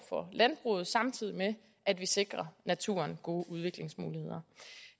for landbruget samtidig med at vi sikrer naturen gode udviklingsmuligheder